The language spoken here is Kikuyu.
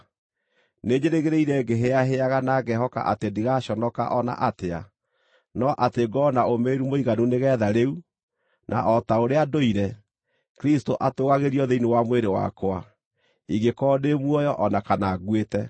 Nĩnjĩrĩgĩrĩire ngĩhĩahĩaga na ngehoka atĩ ndigaconoka o na atĩa, no atĩ ngorwo na ũũmĩrĩru mũiganu nĩgeetha rĩu, na o ta ũrĩa ndũire, Kristũ atũũgagĩrio thĩinĩ wa mwĩrĩ wakwa, ingĩkorwo ndĩ muoyo o na kana nguĩte.